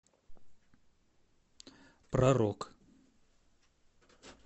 про рок